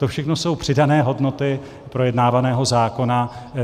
To všechno jsou přidané hodnoty projednávaného zákona.